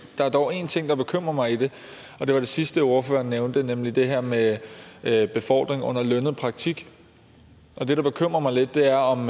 der er dog én ting i det der bekymrer mig og det var det sidste ordføreren nævnte nemlig det her med med befordring under lønnet praktik det der bekymrer mig lidt er om